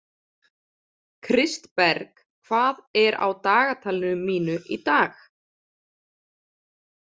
Kristberg, hvað er á dagatalinu mínu í dag?